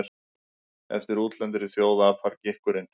Eftir útlendri þjóð apar gikkurinn.